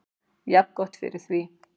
Jafngott fyrir því.